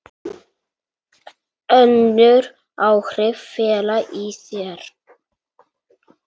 Önnur áhrif fela í sér